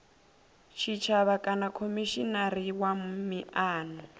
tshitshavha kana khomishinari wa miano